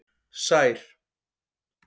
Sær